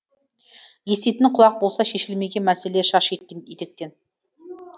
еститін құлақ болса шешілмеген мәселе шаш етектен